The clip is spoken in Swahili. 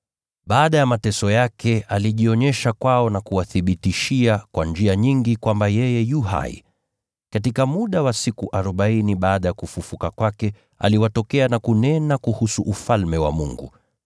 Baada ya mateso yake, alijionyesha kwao na kuwathibitishia kwa njia nyingi kwamba yeye yu hai. Katika muda wa siku arobaini baada ya kufufuka kwake aliwatokea na kunena kuhusu Ufalme wa Mungu.